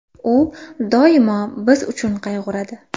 U doimo biz uchun qayg‘uradi.